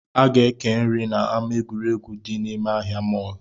A ga-eke nri na ama egwuregwu dị nime ahịa mall